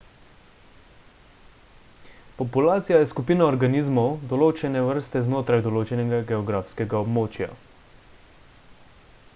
populacija je skupina organizmov določene vrste znotraj določenega geografskega območja